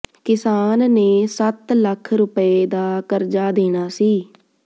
ਕਿਸਾਨ ਨੇ ਸੱਤ ਲੱਖ ਰੁਪਏ ਦਾ ਕਰਜਾ ਦੇਣਾ ਸੀ